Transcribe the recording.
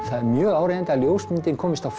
það er mjög áríðandi að ljósmyndin komist á